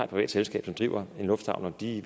privat selskab som driver en lufthavn og de